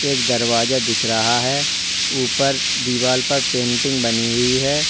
एक दरवाजा दिख रहा है। ऊपर दीवाल पर पेंटिंग बनी हुई है।